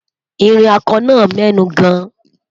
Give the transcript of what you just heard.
ìrìn ako nà mẹnu gan